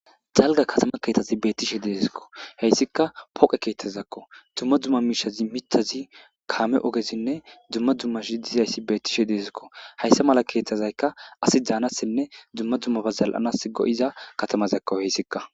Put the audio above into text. Jalga katama keethazi beettishe deesikko heyssika poqe keeththazakko dumma dumma miishazi mithazi kaame ogezinne dumma dumma shi dizayssi beettishe deezikko hayssa mala keeththazaykka asi daanassinne dumma dummaba zal'anas go'iza katamazakko heyssikka